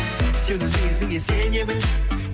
сен өзің ісіңе сене біл